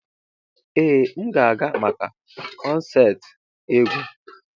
Ee m ga-aga maka konserti egwu.